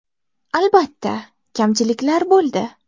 Albatta, kamchiliklar bo‘ldi.